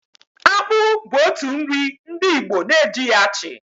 Akpụ bu otu nri ndị Igbo na-ejighi achị.